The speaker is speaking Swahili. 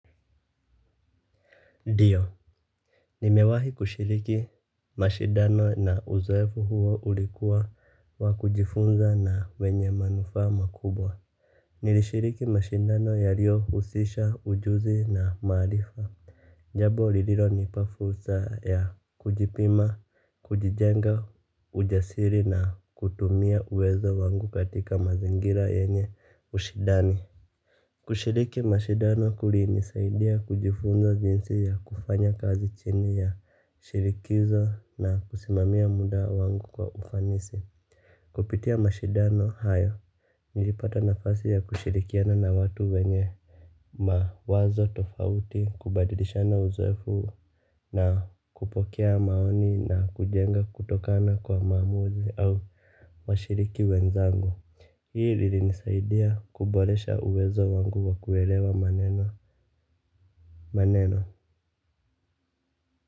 Ndiyo, nimewahi kushiriki mashidano na uzoefu huo ulikuwa wa kujifunza na wenye manufa makubwa. Nilishiriki mashidano yalio husisha ujuzi na maarifa. Jambo lililo nipa fursa ya kujipima, kujijenga ujasiri na kutumia uwezo wangu katika mazingira yenye ushindani. Kushiriki mashidano kuli nisaidia kujifunza jinsi ya kufanya kazi chini ya shirikizo na kusimamia muda wangu kwa ufanisi. Kupitia mashindano hayo nilipata nafasi ya kushirikiana na watu wenye mawazo tofauti kubadilishana uzoefu na kupokea maoni na kujenga kutokana kwa maamuzi au washiriki wenzangu. Hii lili nisaidia kuboresha uwezo wangu wa kuelewa maneno. Maneno.